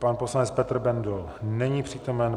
Pan poslanec Petr Bendl není přítomen.